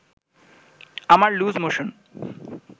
আমার loose motion